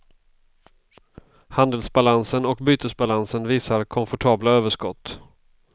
Handelsbalansen och bytesbalansen visar komfortabla överskott.